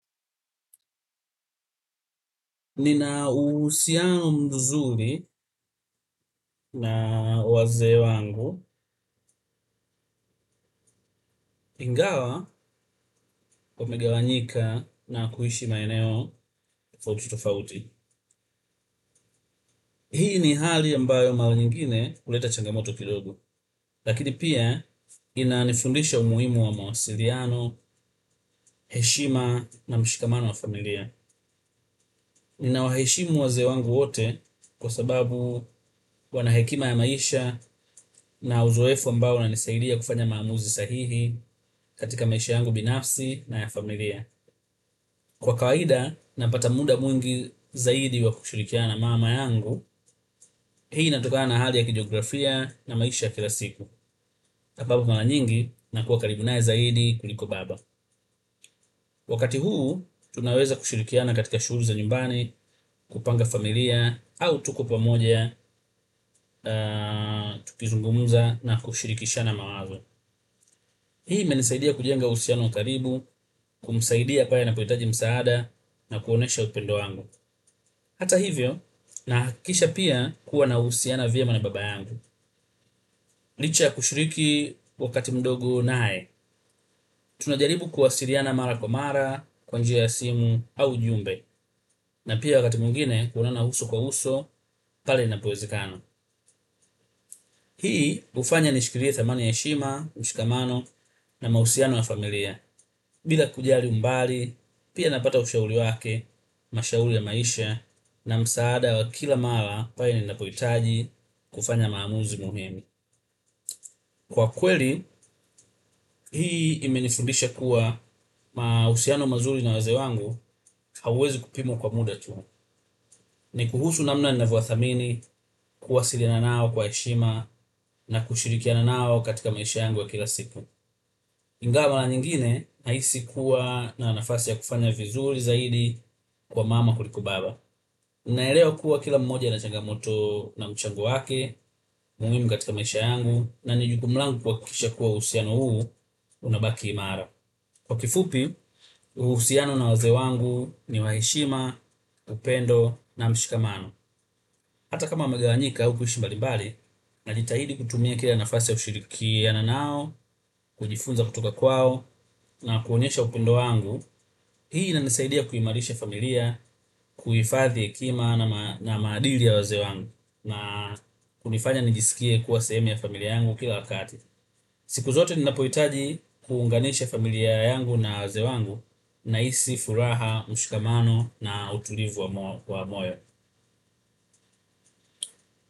Nina uhusiano mzuri na wazee wangu ingawa kumegawanyika na kuishi maeneo tofauti tofauti. Hii ni hali ambayo mara nyingine huleta changamoto kidogo. Lakini pia inanifundisha umuhimu wa mawasiliano, heshima na mshikamano wa familia. Ninawaheshimu wazee wangu wote kwa sababu wana hekima ya maisha na uzoefu ambayo unanisaidia kufanya maamuzi sahihi katika maisha yangu binafsi na ya familia kwa kawaida, napata muda mwingi zaidi wa kushirikiana na mama yangu hii inatokana na hali ya kijiografia na maisha kila siku ambapo mara nyingi, nakua karibu naye zaidi kuliko baba wakati huu, tunaweza kushirikiana katika shughuli za nyumbani kupanga familia, au tuko pamoja tukizungumuza na kushirikishana mawazo hii imenisaidia kujenga uhusiano wa karibu kumsaidia pale anapohitaji msaada na kuonyesha upendo wangu. Hata hivyo, nahakikisha pia kuwa nahusiana vyema na baba yangu. Licha ya kushiriki wakati mdogo naye. Tunajaribu kuwasiliana mara kwa mara, kwa njia ya simu, au ujumbe. Na pia wakati mwingine kuonana uso kwa uso, pale inapoezekana. Hii hufanya nishikilie thamani ya heshima, mshikamano, na mahusiano ya familia. Bila kujali mbali pia napata ushauri wake mashauri ya maisha na msaada wa kila mara pale ninapohitaji kufanya maamuzi muhimu kwa kweli, hii imenifundisha kuwa mahusiano mazuri na wazee wangu hauwezi kupimwa kwa muda tu ni kuhusu namna navo wathamini kuwasiliana nao kwa heshima na kushirikiana nao katika maisha yangu ya kila siku ingawa mara nyingine nahisi kuwa na nafasi ya kufanya vizuri zaidi kwa mama kuliko baba naelewa kuwa kila moja ana changamoto na mchango wake. Ni muhimu katika maisha yangu na ni jukumu langu kuhakikisha kuwa uhusiano huu, unabaki imara. Kwa kifupi, uhusiano na wazee wangu ni wa heshima, upendo na mshikamano. Hata kama wamegawanyika au kuishi mbalimbali, najitahidi kutumia kila nafasi ya kushirikiana nao, kujifunza kutoka kwao na kuonyesha upendo wangu, hii inanisaidia kuimarisha familia, kuhifadhi hekima na maadili ya wazee wangu, na kunifanya nijisikie kuwa sehemu ya familia yangu kila wakati. Siku zote ninapohitaji kuunganisha familia yangu na wazee wangu nahisi, furaha, mshikamano na utulivu wa moyo.